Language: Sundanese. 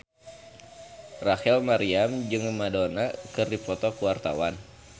Rachel Maryam jeung Madonna keur dipoto ku wartawan